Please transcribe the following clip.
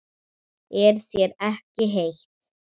Er þér ekki heitt?